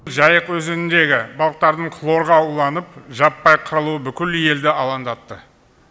жайық өзеніндегі балықтардың хлорға уланып жаппай қырылуы бүкіл елді алаңдатты